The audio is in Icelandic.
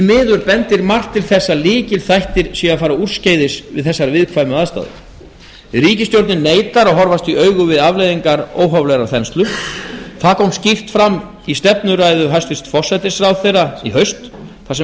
miður bendir margt til þess að lykilþættir séu að fara úrskeiðis við þessar viðkvæmu aðstæður ríkisstjórnin neitar að horfast í augu við afleiðingar óhóflegrar þenslu það kom skýrt fram í stefnuræðu forsætisráðherra þar sem